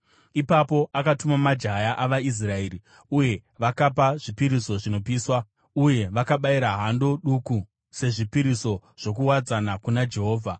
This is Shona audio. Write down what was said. Ipapo akatuma majaya avaIsraeri, uye vakapa zvipiriso zvinopiswa uye vakabayira hando duku sezvipiriso zvokuwadzana kuna Jehovha.